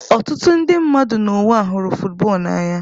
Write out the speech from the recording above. Ọtụtụ ndị mmadụ n'ụwa hụrụ football n'anya.